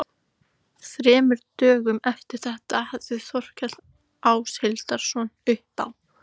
Þremur dögum eftir þetta hafði Þórkell Áshildarson uppi á